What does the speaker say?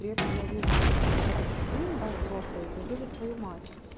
при этом я вижу как этот сын да взрослый я вижу свою мать